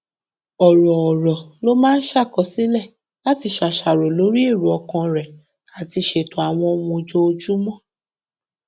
òròórọ ló máa ń ṣàkọsílẹ láti ṣàṣàrò lórí èrò ọkàn rẹ àti ṣètò àwọn ohun ojoojúmọ